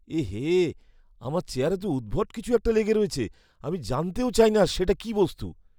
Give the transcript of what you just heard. এ হে, আমার চেয়ারে তো উদ্ভট কিছু একটা লেগে রয়েছে। আমি জানতেও চাই না সেটা কি বস্তু।